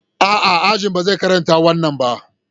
A'a, Ajin ba zai karanta wannan ba.